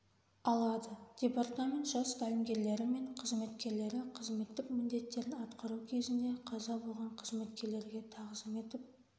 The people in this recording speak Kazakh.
алады департамент жас тәлімгерлері мен қызметкерлері қызметтік міндеттерін атқару кезінде қаза болған қызметкерлерге тағзым етіп